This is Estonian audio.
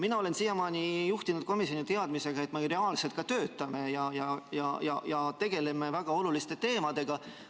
Mina olen siiamaani juhtinud komisjoni teadmisega, et me reaalselt ka töötame ja tegeleme väga oluliste teemadega.